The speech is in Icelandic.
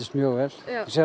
mjög vel